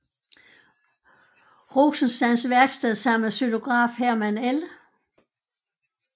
Rosenstands værksted sammen med xylograf Herman L